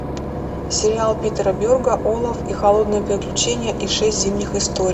сериал питера берга олаф и холодное приключение и шесть зимних историй